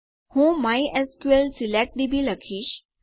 હું MySQL select DB લખીશ